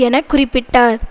என குறிப்பிட்டார்